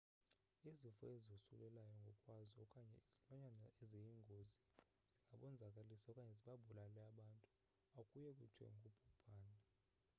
izifo ezosulelayo ngokwazo okanye izilwanyana eziyingozi zingabonzakalisa okanye zibabulale abantu akuye kuthiwe ngubhubhane